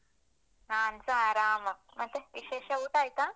ನಾನ್ಸ ಆರಾಮ, ಮತ್ತೆ ವಿಶೇಷ, ಊಟ ಆಯ್ತಾ?